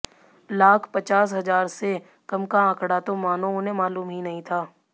लाख पचास हजार से कम का आंकड़ा तो मानों उन्हें मालूम ही नहीं था